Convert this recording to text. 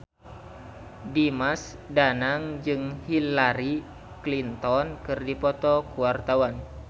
Dimas Danang jeung Hillary Clinton keur dipoto ku wartawan